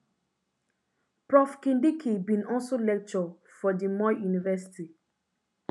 prof kindiki bin also lecture for di moi university